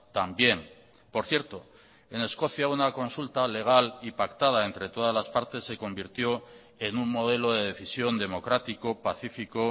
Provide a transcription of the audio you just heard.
también por cierto en escocia una consulta legal y pactada entre todas las partes se convirtió en un modelo de decisión democrático pacifico